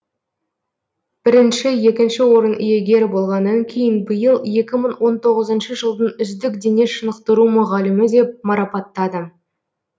бірінші екінші орын иегері болғаннан кейін биыл екі мың он тоғызыншы жылдың үздік дене шынықтыру мұғалімі деп марапаттады